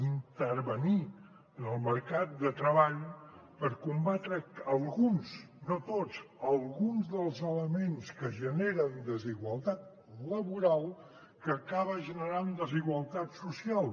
intervenir en el mercat de treball per combatre alguns no tots alguns dels elements que generen desigualtat laboral que acaba generant desigualtat social